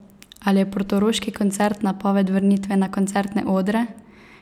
Ali je portoroški koncert napoved vrnitve na koncertne odre?